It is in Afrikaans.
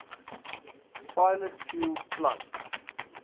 pilot fuel plant